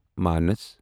مناس